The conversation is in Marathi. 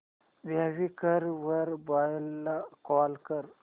क्वीकर वर बायर ला कॉल कर